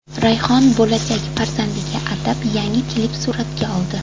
Rayhon bo‘lajak farzandiga atab yangi klip suratga oldi.